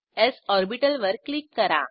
स् ऑर्बिटल वर क्लिक करा